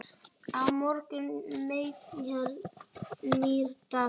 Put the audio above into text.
Á morgun kemur nýr dagur.